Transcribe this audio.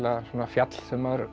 svona fjall sem maður